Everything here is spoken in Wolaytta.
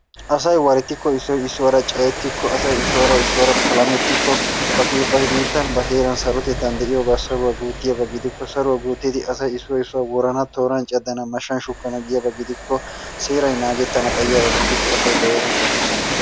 Asay warettikko issoy issuwara cayettikko asay issuwara issuwara palamettikko ba biittankka ba heeran sarotettan de'iyaba saruwaa guuttiyaba gidikko saruwa guuttidi asay issoy issuwa woranna tooran caddana, mashshan shukkana giyaba gidikko seeray naagettana xayiyaba gidikko asay ba heeran sarotettan de'ena.